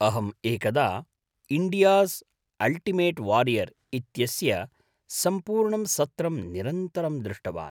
अहम् एकदा 'India's ultimate warrior' इत्यस्य सम्पूर्णं सत्रं निरन्तरं दृष्टवान्।